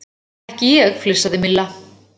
Ekki ég flissaði Milla.